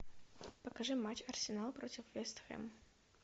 покажи матч арсенал против вест хэм